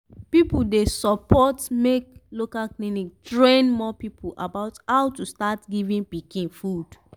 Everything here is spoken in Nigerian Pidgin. people dey support make local clinic train more people about how to start give pikin food.